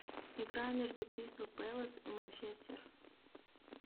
игра между кристал пэлас и манчестер